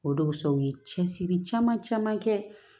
O donsɛ u ye cɛsiri caman caman kɛ